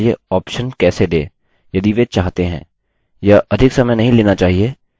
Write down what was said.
हम सीखेंगे कि यूज़र अपना पासवर्ड बदलने के लिए ऑप्शन कैसे दे यदि वे चाहते हैं